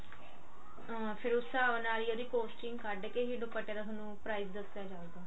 ਆਂ ਫਿਰ ਉਸ ਸਾਬ ਨਾਲ ਹੀ ਉਹਦੀ costing ਕਢ ਕੇ ਹੀ ਦੁਪੱਟੇ ਦਾ ਥੋਨੂੰ price ਦੱਸਿਆ ਜਾਂਦਾ